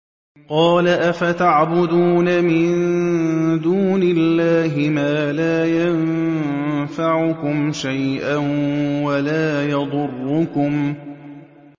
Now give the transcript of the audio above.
قَالَ أَفَتَعْبُدُونَ مِن دُونِ اللَّهِ مَا لَا يَنفَعُكُمْ شَيْئًا وَلَا يَضُرُّكُمْ